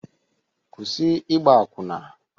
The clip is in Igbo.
Kwụsị ịgba akwụna!